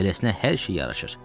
Beləsinə hər şey yaraşır.